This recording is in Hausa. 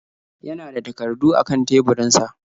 Ya na da takardu a kan teburinsa.